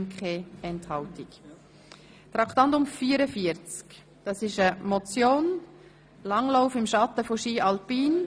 Bei Traktandum 44 handelt es sich um eine Motion mit dem Titel «Langlauf im Schatten von Ski alpin?».